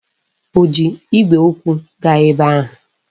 Ọ ji igwe okwu gaa ebe ahụ?